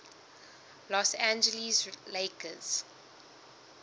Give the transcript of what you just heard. los angeles lakers